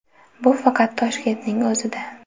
Bu faqat Toshkentning o‘zida.